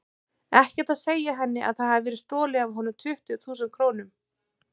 Ekkert að segja henni að það hafi verið stolið af honum tuttugu þúsund krónum.